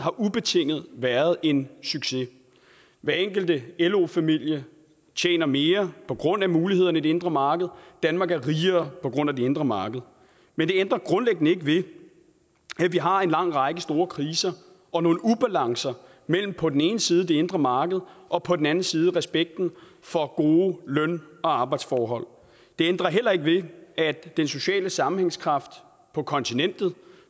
ubetinget har været en succes hver enkelt lo familie tjener mere på grund af mulighederne i det indre marked og danmark er rigere på grund af det indre marked men det ændrer grundlæggende ikke ved at vi har en lang række store kriser og nogle ubalancer mellem på den ene side det indre marked og på den anden side respekten for gode løn og arbejdsforhold det ændrer heller ikke ved at den sociale sammenhængskraft på kontinentet